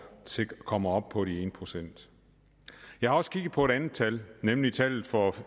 kommer op på en procent jeg har også kigget på et andet tal nemlig tallet for